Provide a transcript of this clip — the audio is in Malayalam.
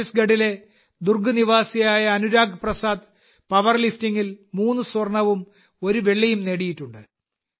ഛത്തീസ്ഗഢിലെ ദുർഗ് നിവാസിയായ അനുരാഗ് പ്രസാദ് പവർലിഫ്റ്റിംഗിൽ മൂന്ന് സ്വർണവും ഒരു വെള്ളിയും നേടിയിട്ടുണ്ട്